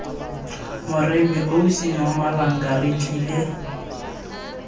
moremi ausi nomalanga re tlile